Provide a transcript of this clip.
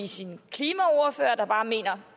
sin klimaordfører der bare mener at